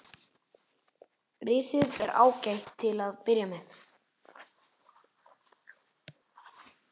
Risið er ágætt til að byrja með.